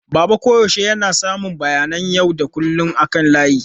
Baba koyaushe yana samun bayanan yau da kullun akan layi.